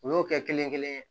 U y'o kɛ kelen kelen